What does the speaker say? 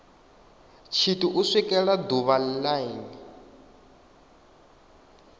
tshithu u swikela ḓuvha line